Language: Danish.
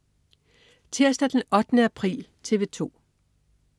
Tirsdag den 8. april - TV 2: